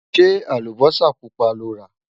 ṣé àlùbósà púpá lọrá?